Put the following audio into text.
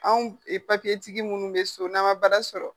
Anw e papiyetigi munnu be so n'an ma baara sɔrɔ